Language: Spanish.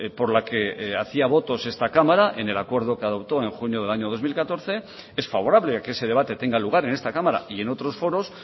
por la que hacía votos esta cámara en el acuerdo que adoptó en junio del año dos mil catorce es favorable a que ese debate tenga lugar en esta cámara y en otros foros